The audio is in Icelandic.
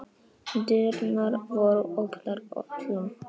Dyrnar voru opnar öllum.